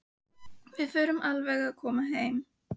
Við förum alveg að koma heim.